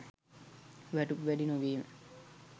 වැටුප් වැඩි නොවීම